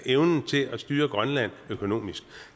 evnen til at styre grønland økonomisk